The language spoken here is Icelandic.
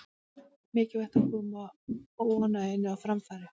Mikilvægt að koma óánægjunni á framfæri